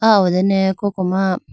aw ho dane koko ma.